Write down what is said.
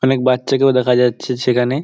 অনেক বাচ্চাকেও দেখা যাচ্ছে সেখানে ।